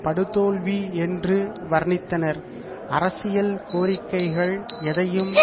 படுதோல்வி என்று வர்ணித்தனர் அரசியல் கோரிக்கைகள் எதையும்